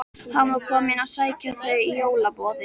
Hann var kominn að sækja þau í jólaboðið.